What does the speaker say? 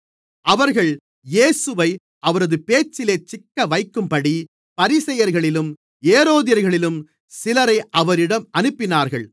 அவர்கள் இயேசுவை அவரது பேச்சிலே சிக்கவைக்கும்படி பரிசேயர்களிலும் ஏரோதியர்களிலும் சிலரை அவரிடம் அனுப்பினார்கள்